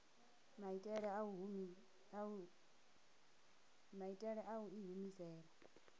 maitele a u i humisela